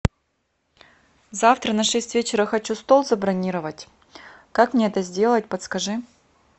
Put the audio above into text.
завтра на шесть вечера хочу стол забронировать как мне это сделать подскажи